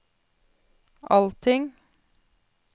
allting